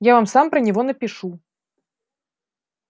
я вам сам про него напишу